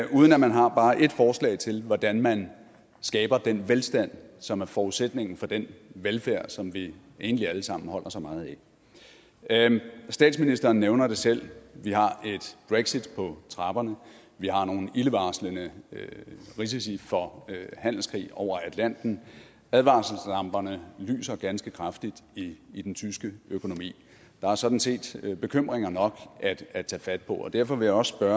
uden at man har bare ét forslag til hvordan man skaber den velstand som er forudsætningen for den velfærd som vi egentlig alle sammen holder så meget af statsministeren nævner det selv vi har et brexit på trapperne vi har nogle ildevarslende risici for handelskrig over atlanten og advarselslamperne lyser ganske kraftigt i i den tyske økonomi der er sådan set bekymringer nok at tage fat på derfor vil jeg også